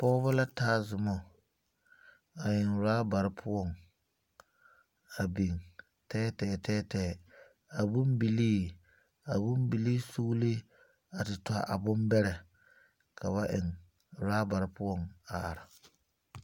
Pɔgɔbɔ la taa zumɔ a eŋ robare poʊŋ a biŋ teɛteɛ teɛteɛ. A boŋ bilii, a boŋ bilii sugle, a te tɔ a boŋ bɛrɛ ka ba eŋ robare poʊ a are